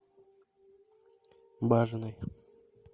бажиной